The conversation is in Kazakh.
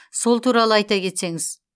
сол туралы айта кетсеңіз